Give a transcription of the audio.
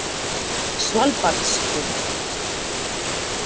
Svalbarðsströnd